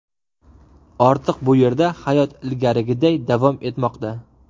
Ortiq bu yerda hayot ilgarigiday davom etmoqda.